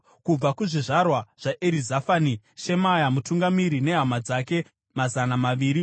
kubva kuzvizvarwa zvaErizafani, Shemaya mutungamiri nehama dzake mazana maviri;